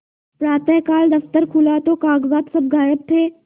प्रातःकाल दफ्तर खुला तो कागजात सब गायब थे